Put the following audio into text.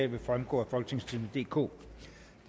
vil fremgå af folketingstidende DK